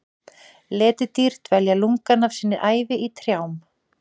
Letidýr dvelja lungann af sinni ævi í trjám.